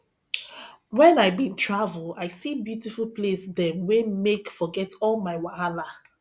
wen i bin travel i see beautiful place dem wey make forget all my wahala